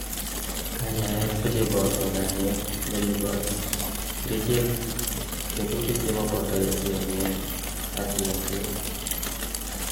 kanyaet kocheboto kanyet neribot, kerichek, tetutik chemoboto yenyet ak yengset